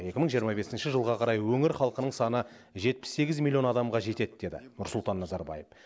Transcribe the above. екі мың жиырма бесінші жылға қарай өңір халқының саны жетпіс сегіз миллион адамға жетеді деді нұрсұлтан назарбаев